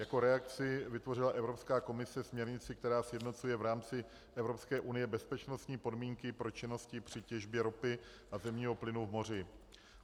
Jako reakci vytvořila Evropská komise směrnici, která sjednocuje v rámci Evropské unie bezpečnostní podmínky pro činnosti při těžbě ropy a zemního plynu v moři.